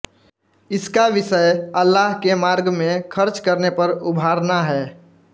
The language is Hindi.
इसका विषय अल्लाह के मार्ग में ख़र्च करने पर उभारना है